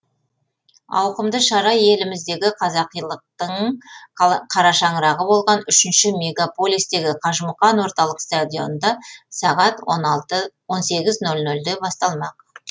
ауқымды шара еліміздегі қазақилықтың қарашаңырағы болған үшінші мегаполистегі қажымұқан орталық стадионында сағат он сегіз нөл нөлде басталмақ